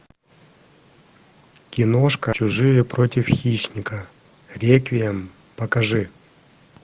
киношка чужие против хищника реквием покажи